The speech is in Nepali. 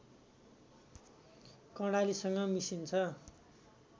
कर्णालीसँग मिसिन्छ